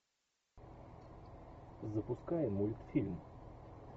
запускай мультфильм